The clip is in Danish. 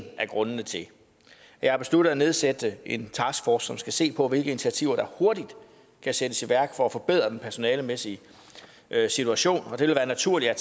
af grundene til at jeg har besluttet at nedsætte en taskforce som skal se på hvilke initiativer der hurtigt kan sættes i værk for at forbedre den personalemæssige situation og det vil være naturligt at